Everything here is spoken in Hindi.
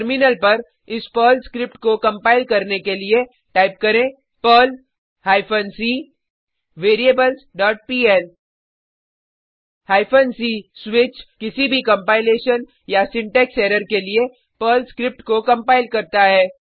टर्मिनल पर इस पर्ल स्क्रिप्ट को कंपाइल करने के लिए टाइप करेंperl hyphen c variables dot PL hyphen c switch किसी भी कंपाइलेशनसिंटेक्स एरर के लिए पर्ल स्क्रिप्ट को कंपाइल करता है